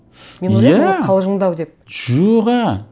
иә мен ойлаймын ол қалжыңдау деп жоға